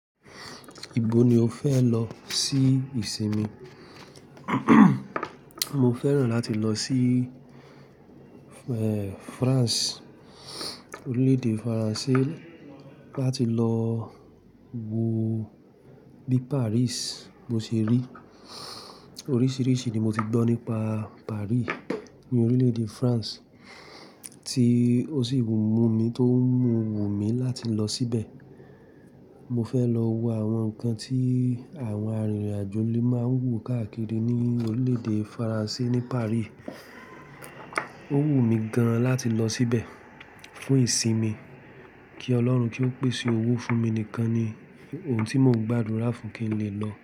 Ibo ni o fẹ lọ sí ìsinmi? Mo fẹ́ràn láti lọ sí France, orílẹ̀ èdè Faransé láti lọ wo bí Paris bo ṣe rí. Oríṣiríṣi ni mo ti gbọ́ nípa Paris ní orílẹ̀ èdè France tí ó sì mú mi tó ń mu wù mí láti lọ síbẹ̀. Mo fẹ lọ wo àwọn ǹkan tí àwọn arìnrìn àjò lè máa ń wò káàkiri ní orílẹ̀ èdè Faransé ní Paris. Ó wù mí gan láti lọ síbẹ̀ fún ìsinmi kí Ọlọ́run kí ó pèsè owó fún mi nìkan ni ohun tí mo gbádùn rá fún kí n lè lọ.